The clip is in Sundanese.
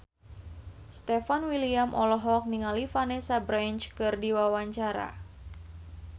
Stefan William olohok ningali Vanessa Branch keur diwawancara